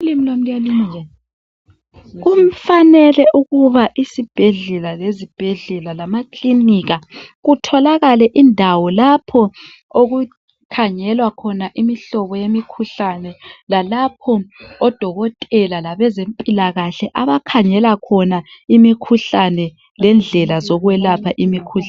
Kufanele ukuba isibhedlela lezibhedlela lamakilinika. Kutholakale indawo lapho okukhangelwa khona Imihlobo yemikhuhlane .Lalapho odokotela labezempilakahle abakhangela khona imikhuhlane lendlela zokwelapha imikhuhlane .